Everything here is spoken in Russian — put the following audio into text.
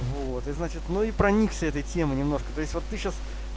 вот и значит ну и проникся этой темы немножко то есть вот ты сейчас